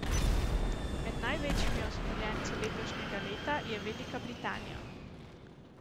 Med največjimi osmoljenci letošnjega leta je Velika Britanija.